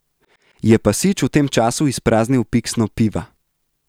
Je pa Sič v tem času izpraznil piksno piva.